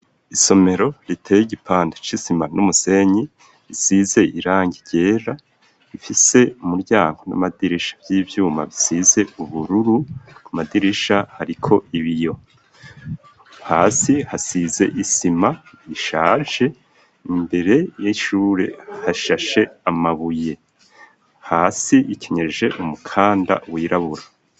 Isomero riteye igipande c'isima n'umusenyi, isize irangi ryera, ifise umuryango n'amadirisha vy'ivyuma bisize ubururu, ku madirisha hariko ibiyo, hasi hasize isima ishaje, imbere y'ishure hashashe amabuye. Hasi hakeneje umukanda w'irabura.